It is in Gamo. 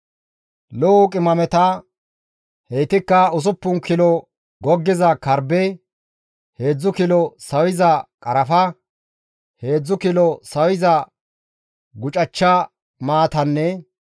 «Lo7o qimameta, heytikka usuppun kilo goggiza karbbe, heedzdzu kilo sawiza qarafa, heedzdzu kilo sawiza gucachcha maatanne